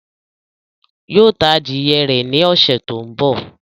Yóò ta adìyẹ rẹ̀ ní ọ̀ṣẹ̀ tó ń bọ̀